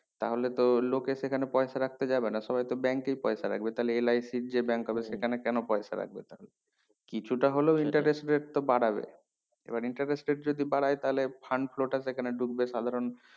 তাহলে তো লোকের সেখানে পয়সা রাখতে যাবেনা সবাই তো bank এই পয়সা রাখবে তাহলে LIC র যে bank হবে সেখানে কেন পয়সা রাখবে তাদের কিছুটা হলেও interest rate তো বাড়াবে এবার interest rate যদি বাড়ায় তাহলে fund flow টা এখানে ডুববে সাধারণ